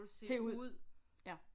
Se ud ja